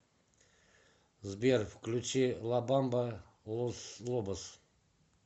сбер включи ла бамба лос лобос